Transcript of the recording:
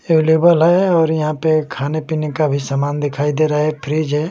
Available है और यहां पे खाने-पीने का भी समान दिखाई दे रहा है फ्रिज है।